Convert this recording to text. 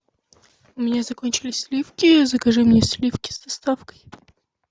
у меня закончились сливки закажи мне сливки с доставкой